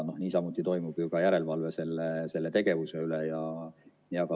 Niisamuti toimub ju ka järelevalve selle tegevuse üle.